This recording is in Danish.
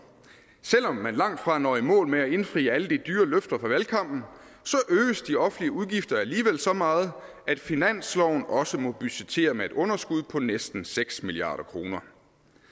selv om man langtfra når i mål med at indfri alle de dyre løfter fra valgkampen øges de offentlige udgifter alligevel så meget at finansloven også må budgettere med et underskud på næsten seks milliard kroner